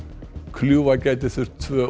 kljúfa gæti þurft tvö